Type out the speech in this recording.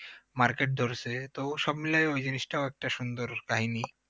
Market ধরেছে তো সব মিলে ওই জিনিসটাও একটা সুন্দর কাহিনী